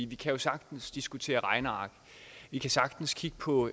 vi kan sagtens diskutere regneark vi kan sagtens kigge på